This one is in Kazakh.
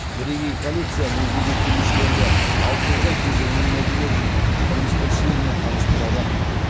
бірегей коллекция музейге келушілерді алтын орда кезеңінің мәдениетімен тұрмыс тіршілігімен таныстырады